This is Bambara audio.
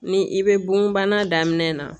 Ni i bɛ bonbana daminɛ